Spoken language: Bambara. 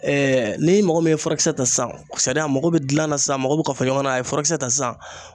ni mɔgɔ min ye furakisɛ ta sisan a mako bɛ dilan sisan a mako bɛ kafoɲɔgɔnya na, a ye furakisɛ ta sisan